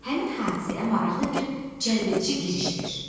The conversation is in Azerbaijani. Həmin hadisəyə maraqlı bir cəlbedici giriş ver.